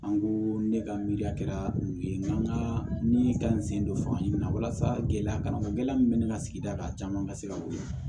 An ko ne ka miiriya kɛra yen n ka ni ka n sen don fanga ɲini na walasa gɛlɛya kana gɛlɛya min bɛ ne ka sigida kan caman ka se ka weele